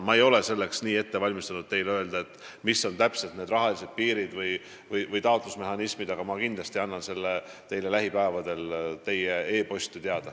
Ma ei ole end selleks teemaks ette valmistanud ega oska kohe öelda, millised täpselt on need rahalised piirid ja taotlusmehhanismid, aga kindlasti annan teile lähipäevadel e-posti kaudu teada.